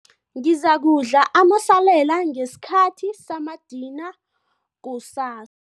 Ngizakudla amasalela ngesikhathi samadina kusas